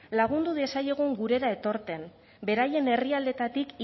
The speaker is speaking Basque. lagundu diezaiegun gurera etortzen beraien herrialdeetatik